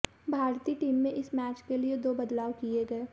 भारतीय टीम में इस मैच के लिए दो बदलाव किए गए